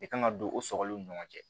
I kan ka don o sɔgɔliw ni ɲɔgɔn cɛ